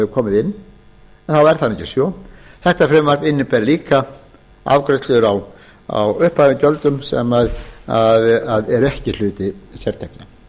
komið inn þá er það ekki svo þetta frumvarp inniber líka afgreiðslur á uppfærðum gjöldum sem eru ekki hluti sértekna